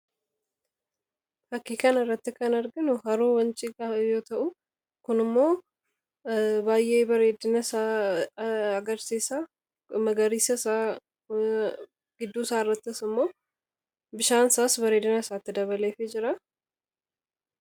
Bakka kana irratti kan arginu Haroo Wancii yoo ta'u, fakkiin kunis baay'ee magariisa ta'uusaa, bareedina isaa agarsiisa. Harichi gidduutti argamuunis bareedina isaa dabaleefii jira.